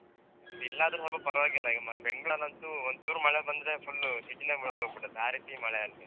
ಇಲ್ಲದ್ರೆ ಸ್ವಲ್ಪ ಪರವಾಗಿಲ್ಲಈ ಅಹ್ ಬೆಂಗ್ಳೂರಲಂತೂ ಒಂದ್ ಚೂರು ಮಳೆ ಬಂದ್ರೆ full city ನೇ ಮುಳ್ಗೋ ಗ್ಬಿಡತ್ತೆ ಆ ರೀತಿ ಮಳೆ ಅಲ್ಲಿ.